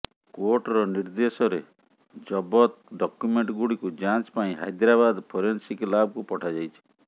କୋର୍ଟର ନିର୍ଦ୍ଦେଶରେ ଜବତ ଡକ୍ୟୁମେଣ୍ଟ ଗୁଡ଼ିକୁ ଯାଞ୍ଚ ପାଇଁ ହାଇଦ୍ରାବାଦ ଫୋରେନ୍ସିକ ଲାବକୁ ପଠାଯାଇଛି